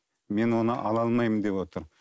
мен оны ала алмаймын деп отыр